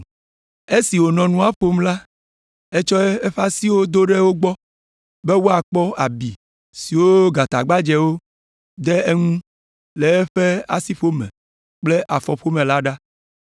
Esi wònɔ nua ƒom la, etsɔ eƒe asiwo do ɖe wo gbɔ be woakpɔ abi siwo gatagbadzɛwo de eŋu le eƒe asiƒome kple afɔƒome la ɖa.